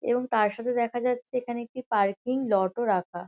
এবং তার সাথে দেখা যাচ্ছে এখানে একটি পার্কিং লট -ও রাখা।